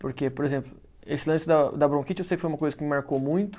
Porque, por exemplo, esse lance da da bronquite eu sei que foi uma coisa que me marcou muito.